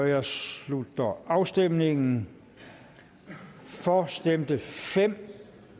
jeg slutter afstemningen for stemte fem